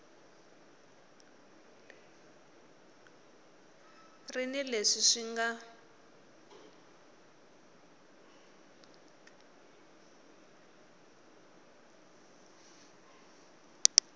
ri ni leswi swi nga